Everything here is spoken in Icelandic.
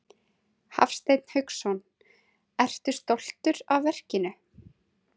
Hafsteinn Hauksson: Ertu stoltur af verkinu?